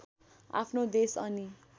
आफ्नो देश अनि